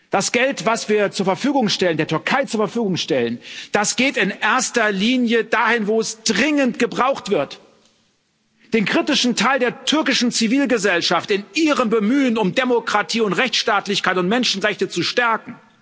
Das Geld, was wir der Türkei zu Verfügung stellen, geht in erster Linie dahin, wo es dringend gebraucht wird an den kritischen Teil der türkischen Zivilgesellschaft in ihrem Bemühen, Demokratie und Rechtsstaatlichkeit und Menschenrechte zu stärken.